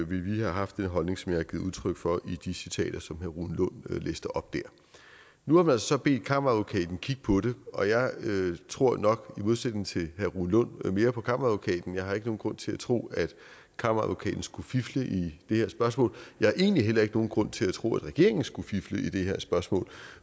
ville vi have haft den holdning som jeg har givet udtryk for i de citater som herre rune lund læste op nu har man så bedt kammeradvokaten kigge på det og jeg tror nok i modsætning til herre rune lund mere på kammeradvokaten jeg har ikke nogen grund til at tro at kammeradvokaten skulle fifle i det her spørgsmål jeg har egentlig heller ikke nogen grund til at tro at regeringen skulle fifle i det her spørgsmål